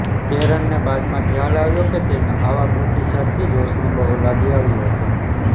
કેરનને બાદમાં ખ્યાલ આવ્યો કે તેના આવા પ્રતિસાદથી જોશને બહુ લાગી આવ્યું હતું